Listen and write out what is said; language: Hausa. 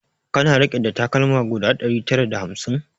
Kana rike da takalma guda ɗari tara da hamsin?